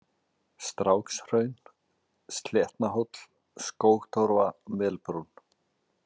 Strákshraun, Sléttnahóll, Skógtorfa, Melbrún